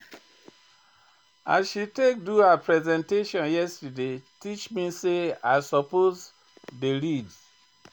As she take do her presentation yesterday teach me sey I suppose dey read.